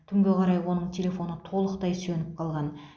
түнге қарай оның телефоны толықтай сөніп қалған